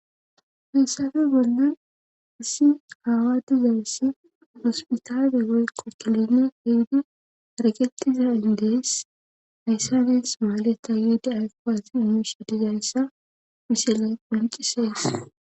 Hessafe bonnan isi haawa dizayssi hospitaafe woyqo kilenne hiddu arakettiza indees hayssanes maaleta yiida afpaati yuniersodizayssa pise layqouincisees.